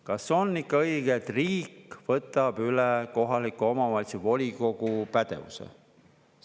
Kas on ikka õige, et riik võtab üle kohaliku omavalitsuse volikogu pädevuse?